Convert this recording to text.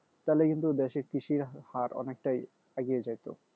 তাহলে কিন্তু দেশে কৃষি হার অনেকটাই এগিয়ে যাইতো